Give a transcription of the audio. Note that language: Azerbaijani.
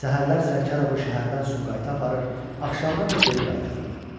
Səhərlər Sərkarovu şəhərdən Sumqayıta aparır, axşamlar da geri qaytarırdı.